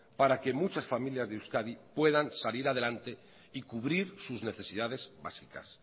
para que muchas familias de euskadi puedan salir adelante y cubrir sus necesidades básicas